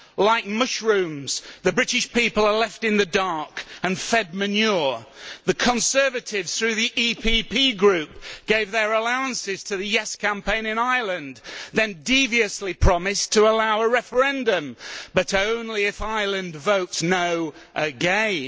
Like mushrooms, the British people are left in the dark and fed manure. The Conservatives, through the EPP Group, gave their allowances to the yes' campaign in Ireland, then deviously promised to allow a referendum but only if Ireland votes no' again.